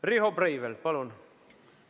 Riho Breivel, palun!